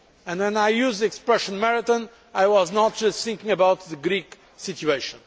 When I use the expression marathon' I am not just thinking about the Greek situation.